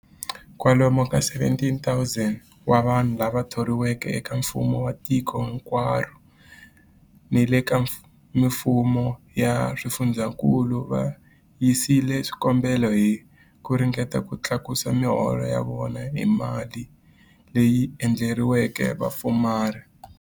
Kwalomu ka 17,000 wa vanhu lava thoriweke eka mfumo wa tiko hinkwaro ni le ka mifumo ya swifundzankulu va yisile swikombelo hi ku ringeta ku tlakusa miholo ya vona hi mali leyi endleriweke vapfumari.